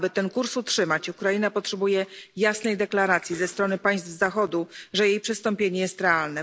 Aby ten kurs utrzymać, Ukraina potrzebuje jasnej deklaracji ze strony państw Zachodu, że jej przystąpienie jest realne.